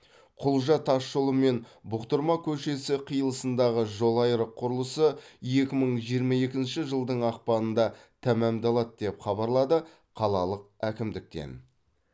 құлжа тасжолы мен бұқтырма көшесі қиылысындағы жолайрық құрылысы екі мың жиырма екінші жылдың ақпанында тәмамдалады деп хабарлады қалалық әкімдіктен